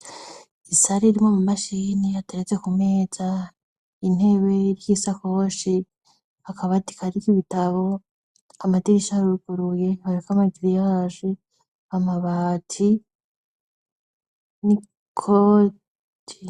Isari riwo mu mashini hatereze ku meza intebe ry'isakoshi akabatikariko ibitabo amadirisharuguruye ntabafamaziziyahaje amabati ni koti.